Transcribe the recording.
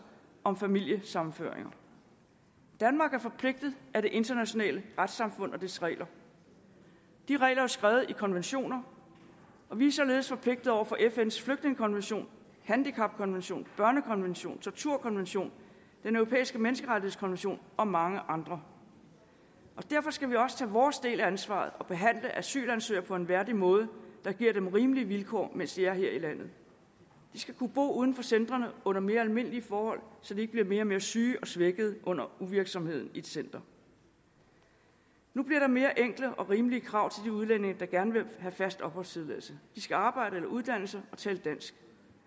om familiesammenføring danmark er forpligtet af det internationale retssamfund og dets regler de regler er skrevet i konventioner og vi er således forpligtede over for fns flygtningekonvention handicapkonvention børnekonvention torturkonvention den europæiske menneskerettighedskonvention og mange andre derfor skal vi også tage vores del af ansvaret og behandle asylansøgere på en værdig måde der giver dem rimelige vilkår mens de er her i landet de skal kunne bo uden for centrene under mere almindelige forhold så de ikke bliver mere og mere syge og svækkede under uvirksomheden i et center nu bliver der mere enkle og rimelige krav til de udlændinge der gerne vil have fast opholdstilladelse de skal arbejde eller uddanne sig og tale dansk